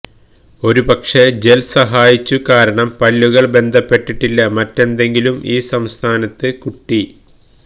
ഒരുപക്ഷേ ജെൽ സഹായിച്ചു കാരണം പല്ലുകൾ ബന്ധപ്പെട്ടിട്ടില്ല മറ്റെന്തെങ്കിലും ഈ സംസ്ഥാനത്ത് കുട്ടി